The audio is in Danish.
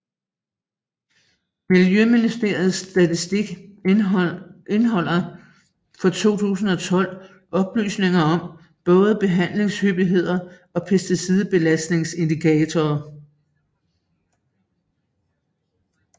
Miljøministeriets statistik indeholder fra 2012 oplysninger om både behandlingshyppighed og pesticidbelastningsindikator